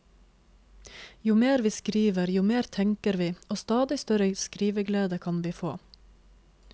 Jo mer vi skriver, jo mer tenker vi og stadig større skriveglede kan vi få.